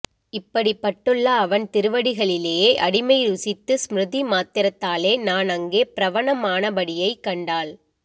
இப்படிப் பட்டுள்ள அவன் திருவடிகளிலே அடிமை ருசித்து ஸ்ம்ருதி மாத்திரத்தாலே நான் அங்கே ப்ரவணம் ஆனபடியைக் கண்டால்